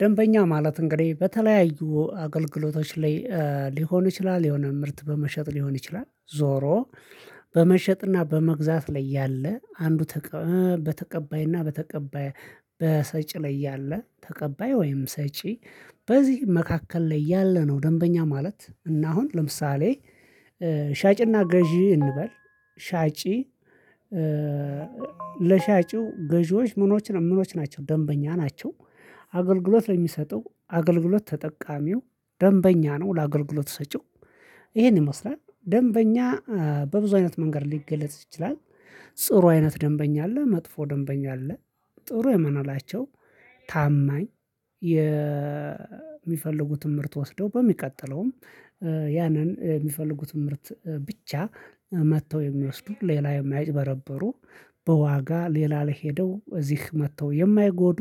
ደንበኛ ማለት እንግዲህ በተለያዩ አገልግሎቶች ላይ ሊሆን ይችላል የሆነ ምርት በመሸጥ ሊሆን ይችላል ዞሮ በመሸጥና በመግዛት ላይ ያለ አንዱ በተቀባይና በተቀባይ በሰጪ ላይ ያለ ተቀባይ ወይም ሰጪ በዚህ መካከል ላይ ያለ ነው። ደንበኛ ማለት እና አሁን ለምሳሌ ሻጭና ገዢ እንበል ሻጭ ለሻጭው ገዢዎች ምኖች ነው ምኖች ናቸው ደንበኛ ናቸው። አገልግሎት ለሚሰጠው አገልግሎት ተጠቃሚው ደንበኛ ነው። ለአገልግሎት ሰጪው ይሄን ይመስላል ደንበኛ በብዙ አይነት መንገድ ሊገለጽ ይችላል። ጥሩ አይነት ደንበኛ አለ መጥፎ ደንበኛ አለ። ጥሩ የምናላቸው ታማኝ የሚፈልጉት ትምህርት ወስደው በሚቀጥለውም ያንን የሚፈልጉትን ምርት ብቻ መጥተው የሚወስዱት ሌላ የማይጭበረበሩ በዋጋ ሌላ ላይ ሄደው እዚህ መጥተው የማይጎዱ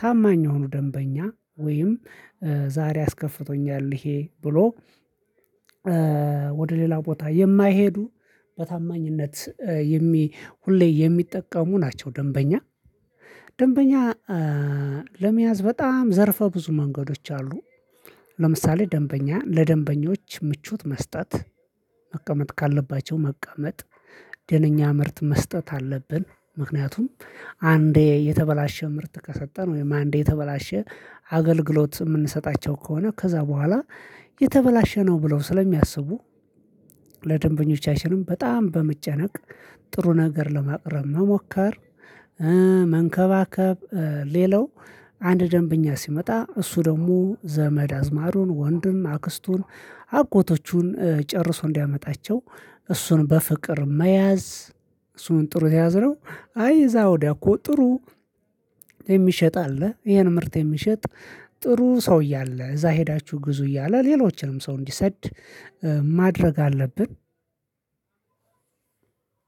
ታማኝ የሆኑ ደንበኛ ወይም ዛሬ አስከፍቶኛል ይሄ ብሎ ወደ ሌላ ቦታ የማይሄዱ በታማኝነት የሚ ሁሌ የሚጠቀሙ ናቸው። ደንበኛ ደንበኛ ለመያዝ በጣም ዘርፈ ብዙ መንገዶች አሉ። ለምሳሌ ደንበኛ ለደንበኞች ምቾት መስጠት መቀመጥ ካለባቸው መቀመጥ ደነኛ ምርት መስጠት አለብን ምክንያቱም አንዴ የተበላሸ ምርት ከሰጠን ወይም አንዴ የተበላሸ አገልግሎት የምንሰጣቸው ከሆነ ከዛ በኋላ የተበላሸ ነው ብለው ስለሚያስቡ ለደንበኞቻችንም በጣም በመጨነቅ ጥሩ ነገር ለማቅረብ መሞከር። መንከባከብ ሌላው አንድ ደንበኛ ሲመጣ እሱ ደግሞ ዘመድ አዝማዱን ወንድም አክስቱን አጎቶቹን ጨርሶ እንዲያመጣቸው እሱን በፍቅር መያዝ። እሱን ጥሩ ከያዝነው አይ እዛ ወዲያ እኮ ጥሩ የሚሸጥ አለ ይሄን ምርት የሚሸጥ ጥሩ ሰውየ አለ እዛ ሄዳችሁ ግዙ እያለ ሌሎችንም ሰው እንዲሰድ ማድረግ አለብን።